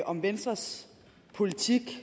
om venstres politik